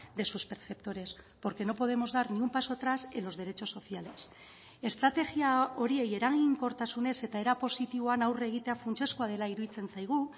de sus perceptores porque no podemos dar ni un paso atrás en los derechos sociales estrategia horiei eraginkortasunez eta era positiboan aurre egitea funtsezkoa dela iruditzen zaigu